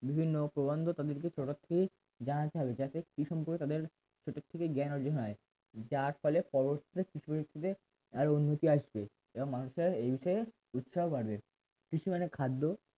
বিভিন্ন প্রবন্ধ সরাসরি তাদেরকে জানাতে হবে যাতে কৃষি সম্পর্কে তাদের ছোট থেকে জ্ঞান অর্জন হয় যার ফলে পরবর্তীতে কৃষি ক্ষেত্রে আরো উন্নতি আসবে এবং মানুষের এ বিষয়ে ইচ্ছাও বাড়বে কৃষি মানে খাদ্য